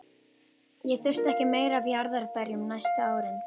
Ég þurfti ekki meira af jarðarberjum næstu árin.